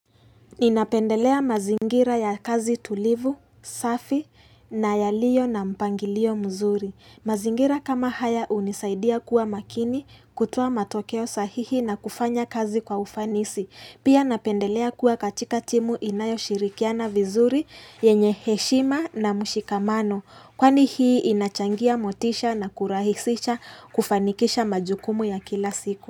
Ninapendelea mazingira ya kazi tulivu, safi na yaliyo na mpangilio mzuri. Mazingira kama haya unisaidia kuwa makini kutoa matokeo sahihi na kufanya kazi kwa ufanisi. Pia napendelea kuwa katika timu inayo shirikiana vizuri yenye heshima na mushikamano. Kwani hii inachangia motisha na kurahisisha kufanikisha majukumu ya kila siku.